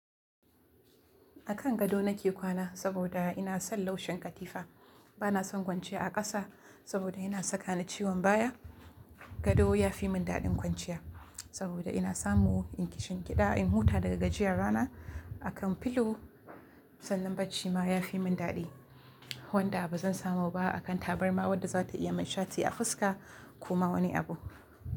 A kan gado nake kwana saboda ina son laushin katifa. Bana son kwanciya a ƙasa saboda yana saka ni ciwon baya. Gado ya fi mun daɗin kwanciya saboda ina samu in ƙishinkida, in huta daga gajiyar rana a kan filo. Sannan bacci ma ya fi mun daɗi wanda ba zan samu ba a kan tabarma wadda za ta iya min shati a fuska ko ma wani abu.